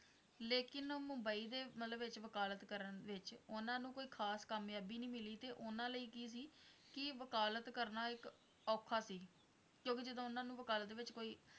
ਲੇਕਿਨ ਮੁੰਬਈ ਦੇ ਮਤਲੱਬ ਵਿੱਚ ਵਕਾਲਤ ਕਰਨ ਵਿੱਚ ਉਹਨਾਂ ਨੂੰ ਕੋਈ ਖਾਸ ਕਾਮਯਾਬੀ ਨਹੀਂ ਮਿਲੀ ਤੇ ਉਹਨਾਂ ਲਈ ਕੀ ਸੀ ਕਿ ਵਕਾਲਤ ਕਰਨਾ ਇੱਕ ਔਖਾ ਸੀ, ਕਿਉਂਕਿ ਜਦੋਂ ਉਹਨਾਂ ਨੂੰ ਵਕਾਲਤ ਵਿੱਚ ਕੋਈ